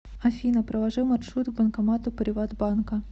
афина проложи маршрут к банкомату приватбанка